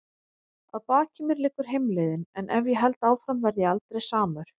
Að baki mér liggur heimleiðin- en ef ég held áfram verð ég aldrei samur.